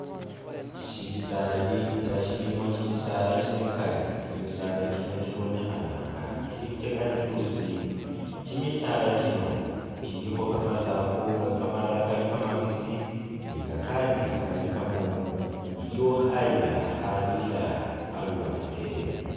Shisaali nga shilimo kimisaala kimikali kyimisaala kyino kyibonekhana inga kyili kye kalitusi, kyimisaala kyino kyiliko kamasaafu nga kamalala kali kamabisi ni kakandi kali kamomu, iliwo khayila khakhabirila aluwande.